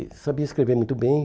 E sabia escrever muito bem.